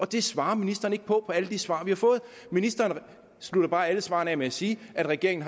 det svarer ministeren ikke på i alle de svar vi har fået ministeren slutter bare alle svarene med at sige at regeringen